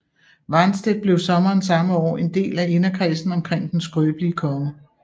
Warnstedt blev sommeren samme år en del af inderkredsen omkring den skrøbelige konge